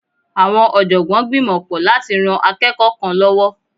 Awọn ọ̀jọ̀gbọ́n gbìmọ pọ látí rán akẹ́kọ̀ọ́ kan lọ́wọ́.